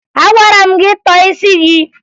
Agwara m gị tọọ isi gị!